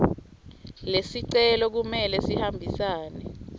lesicelo kumele sihambisane